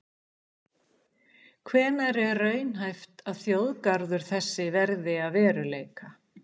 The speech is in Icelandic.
Hvenær er raunhæft að þjóðgarður þessi verði að veruleika?